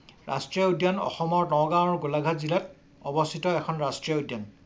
ৰাষ্ট্ৰীয় উদ্যান অসমৰ নগাঁও আৰু গোলাঘাট জিলাত অৱস্থিত এখন ৰাষ্ট্ৰীয় উদ্যান।